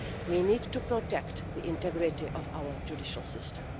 We need to protect the integrity of our judicial system.